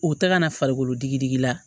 U tɛ ka na farikolo digi digi la